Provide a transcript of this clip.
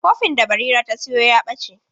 Kofin da Barira ta sayo ya ɓace.